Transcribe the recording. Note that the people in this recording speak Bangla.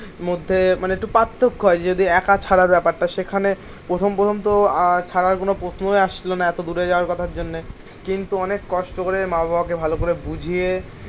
মধ্যে মানে একটু পার্থক্য হয় যদি একা ছাড়ার ব্যাপারটা সেখানে প্রথম প্রথম তো আহ ছাড়ার কোনো প্রশ্নই আসছিল না এত দূরে যাওয়ার কথার জন্যে কিন্তু অনেক কষ্ট করে মা বাবাকে ভালো করে বুঝিয়ে